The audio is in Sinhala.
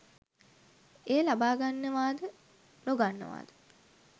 එය ලබා ගන්නවාද නොගන්නවාද